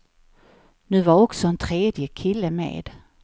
Nu var också en tredje kille med.